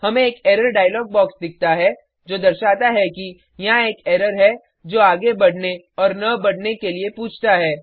हमें एक error dialog box दिखता है जो दर्शाता है कि यहाँ एक एरर है जो आगे बढ़ने और न बढ़ने के लिए पूछता है